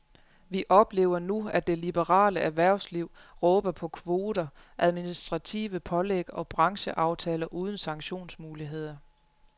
Vi oplever nu, at det liberale erhversliverhvervsliv råber på kvoter, administrative pålæg og brancheaftaler uden sanktionsmuligheder.